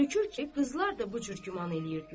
Görükür ki, qızlar da bu cür güman eləyirdilər.